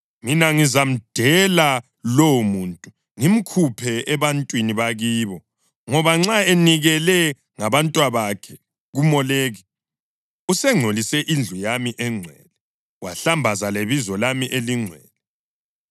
Mina ngizamdela lowomuntu, ngimkhuphe ebantwini bakibo; ngoba nxa enikele ngabantwabakhe kuMoleki, usengcolise indlu yami engcwele, wahlambaza lebizo lami elingcwele.